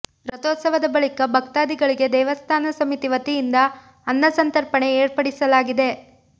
ರಥೋತ್ಸವದ ಬಳಿಕ ಭಕ್ತಾದಿಗಳಿಗೆ ದೇವಸ್ಥಾನ ಸಮಿತಿ ವತಿಯಿಂದ ಅನ್ನಸಂತರ್ಪಣೆ ಏರ್ಪಡಿಸ ಲಾಗಿದೆ